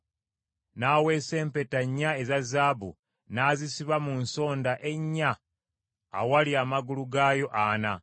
N’aweesa empeta nnya eza zaabu, n’azisiba mu nsonda ennya awali amagulu gaayo ana.